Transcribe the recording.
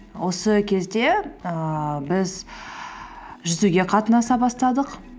осы кезде ііі біз жүзуге қатынаса бастадық